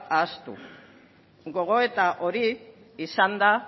ahaztu gogoeta hori izan da